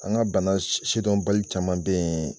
An ka bana sidɔn bali caman bɛ yen